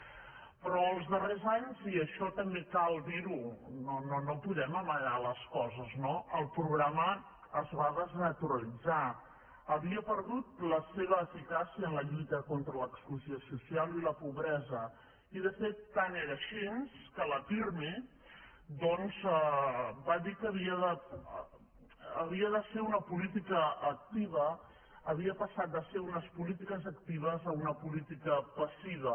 però els darrers anys i això també cal dir ho no podem amagar les coses no el programa es va desnaturalitzar havia perdut la seva eficàcia en la lluita contra l’exclusió social i la pobresa i de fet tant era així que la pirmi doncs va dir que havia de ser una política activa havia passat de ser unes polítiques actives a una política passiva